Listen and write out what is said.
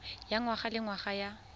ya ngwaga le ngwaga ya